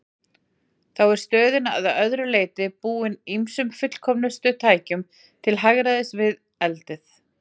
Þá var stöðin að öðru leyti búin ýmsum fullkomnustu tækjum til hagræðis við eldið.